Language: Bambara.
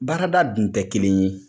Baarada dun tɛ kelen ye